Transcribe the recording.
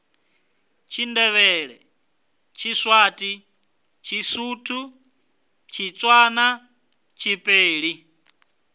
tshindevhele tshiswati tshisuthu tshitswana tshibeli